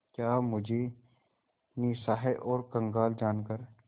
क्या मुझे निस्सहाय और कंगाल जानकर